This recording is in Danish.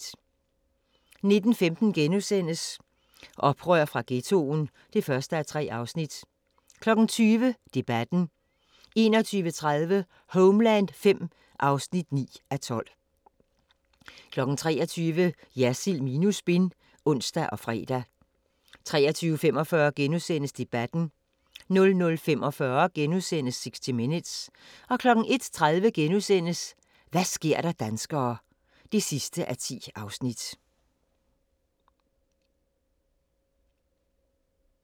19:15: Oprør fra Ghettoen (1:3)* 20:00: Debatten 21:30: Homeland V (9:12) 23:00: Jersild minus spin (ons og fre) 23:45: Debatten * 00:45: 60 Minutes * 01:30: Hva' sker der danskere (10:10)*